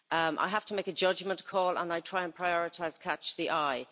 I have to make a judgement call and I try and prioritise catch-the eye.